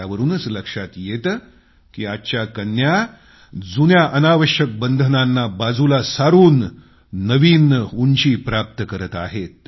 त्यावरूनच लक्षात येतं की आजच्या कन्या जुन्या अनावश्यक बंधनांना बाजूला सारून नवीन उंची प्राप्त करत आहेत